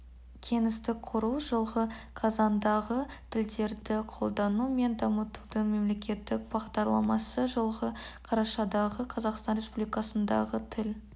кеңістік құру жылғы қазандағы тілдерді қолдану мен дамытудың мемлекеттік бағдарламасы жылғы қарашадағы қазақстан республикасындағы тіл